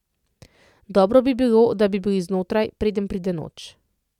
Dobro bi bilo, da bi bili znotraj, preden pride noč.